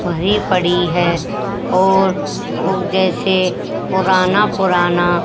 वहीं पड़ी हैं और वो जैसे पुराना पुराना--